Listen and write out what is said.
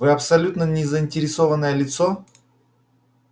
вы абсолютно не заинтересованное лицо